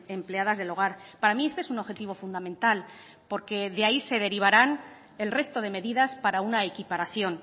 empleadas del hogar para mí este es un objetivo fundamental porque de ahí se derivarán el resto de medidas para una equiparación